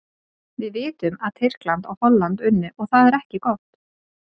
Við vitum að Tyrkland og Hollandi unnu og það er ekki gott.